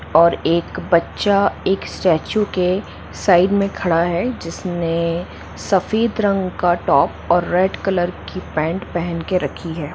और एक बच्चा एक स्टारर्चू के साईड मे खड़ा है जिसने सफेद रंग का टॉप और रेड कलर की पैंट पहन के रखी है।